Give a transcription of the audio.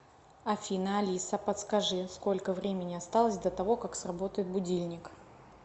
афина алиса подскажи сколько времени осталось до того как сработает будильник